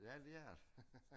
Ja det er det